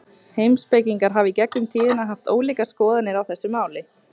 Heimspekingar hafa í gegnum tíðina haft ólíkar skoðanir á þessu máli.